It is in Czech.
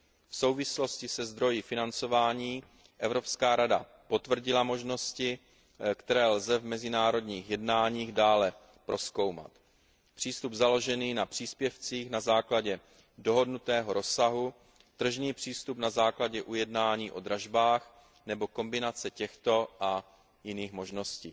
V souvislosti se zdroji financování Evropská rada potvrdila možnosti, které lze v mezinárodních jednáních dále prozkoumat, přístup založený na příspěvcích na základě dohodnutého rozsahu, tržní přístup na základě ujednání o dražbách nebo kombinace těchto a jiných možností.